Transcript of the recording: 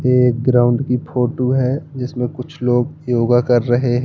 ये एक ग्राउंड की फोटो है जिसमें कुछ लोग योगा कर रहे हैं।